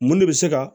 Mun de bɛ se ka